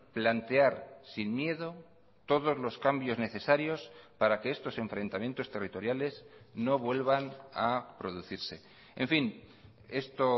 plantear sin miedo todos los cambios necesarios para que estos enfrentamientos territoriales no vuelvan a producirse en fin esto